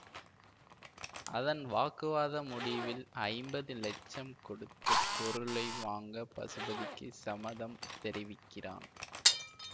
அதன் வாக்குவாத முடிவில் ஐம்பது லட்சம் கொடுத்து பொருளை வாங்க பசுபதிக்கு சம்மதம் தெரிவிக்கிறான்